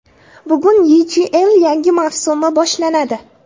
Bugun YChL yangi mavsumi boshlanadi.